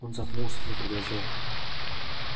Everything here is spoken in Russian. он запнулся но продолжал